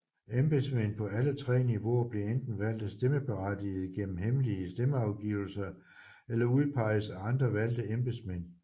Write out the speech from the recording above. Embedsmænd på alle tre niveauer bliver enten valgt af stemmeberettigede gennem hemmelige stemmeafgivelser eller udpeges af andre valgte embedsmænd